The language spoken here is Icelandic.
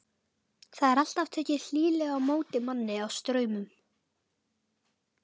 Það er alltaf tekið hlýlega á móti manni á Straumum.